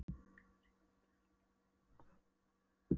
Bandarískt kvikmyndafélag myndaði hann þar við veiðar.